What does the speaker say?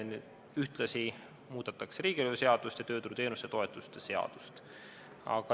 Ühtlasi muudetakse riigilõivuseadust ning tööturuteenuste ja -toetuste seadust.